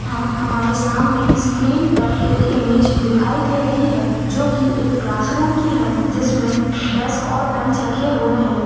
यहाँ हमारे सामने स्क्रीन पर एक इमेंज दिखाई दे रही है जो की एक क्लासरूम की है जिसमे डेस्क और बेंच रखे हुए है।